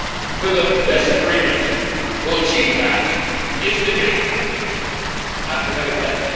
Whether this agreement will achieve that is debatable at the very best.